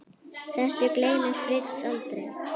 Þessu gleymir Fritz aldrei.